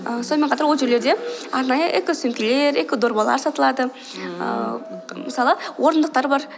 а сонымен қатар ол жерлерде арнайы эко сөмкелер эко дорбалар сатылады ііі мысалы орындықтар бар